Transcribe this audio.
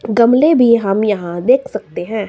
गमले भी हम यहां देख सकते हैं।